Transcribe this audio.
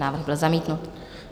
Návrh byl zamítnut.